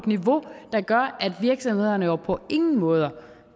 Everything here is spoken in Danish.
niveau der gør at virksomhederne jo på ingen måder